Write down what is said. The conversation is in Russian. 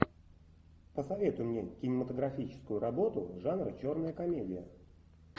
посоветуй мне кинематографическую работу жанр черная комедия